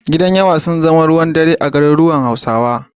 Gidajen yawa sun zama ruwan dare a garuruwan Hausawa.